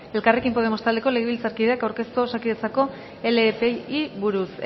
elkarrekin podemos taldeko legebiltzarkideak aurkeztua osakidetzako lepei buruz